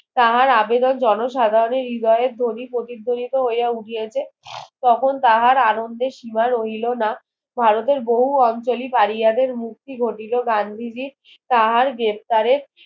তাহার আবেদন জন সাধারণের হৃদয়ের ধ্বনি প্রতিধ্বনিত হইয়া উঠিয়াছে তখন তাহার আনন্দে শিমা রইলো না ভারতের বহু আঞ্চলি পারিয়াদের মুক্তি ঘটিল গান্ধীজি তাহার গ্রেপ্তারে